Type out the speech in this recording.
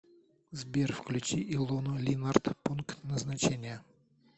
сбер включи илону линарт пункт назначения